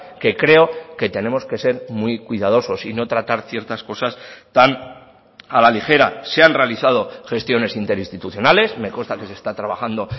que creo que tenemos que ser muy cuidadosos y no tratar ciertas cosas tan a la ligera se han realizado gestiones interinstitucionales me consta que se está trabajando